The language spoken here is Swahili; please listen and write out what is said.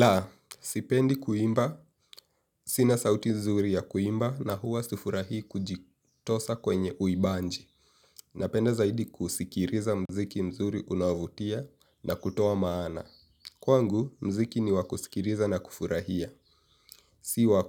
La, sipendi kuimba, sina sauti nzuri ya kuimba na huwa sifurahi kujitosa kwenye uibanji. Napenda zaidi kusikiriza mziki mzuri unaovutia na kutoa maana. Kwangu, mziki ni wakusikiriza na kufurahia, siwa